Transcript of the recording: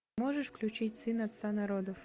можешь включить сын отца народов